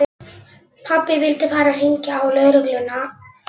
Pabbi vildi fara að hringja á lögregluna.